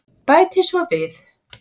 Bæti svo við.